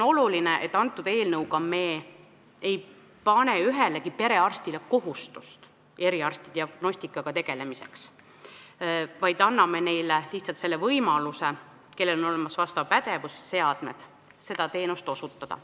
Oluline on, et eelnõuga ei pane me ühelegi perearstile kohustust eriarstiabi diagnostikaga tegeleda, vaid anname lihtsalt võimaluse neile, kellel on olemas pädevus ja seadmed, seda teenust osutada.